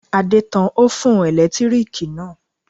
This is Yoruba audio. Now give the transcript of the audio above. Adé tan ófùn ẹ̀lẹ́tíríkì náà